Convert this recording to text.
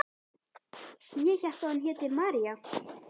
Ég hélt að hún héti María.